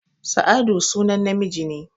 Sa'adu sunan namiji